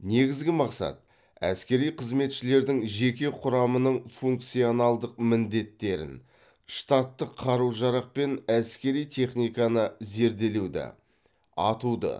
негізгі мақсат әскери қызметшілердің жеке құрамының функционалдық міндеттерін штаттық қару жарақ пен әскери техниканы зерделеуді атуды